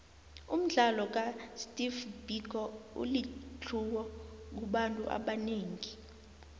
umdlalo ka steve biko ulitlhuwo kubantu abanengi